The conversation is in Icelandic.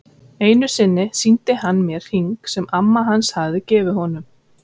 Einu sinni sýndi hann mér hring sem amma hans hafði gefið honum.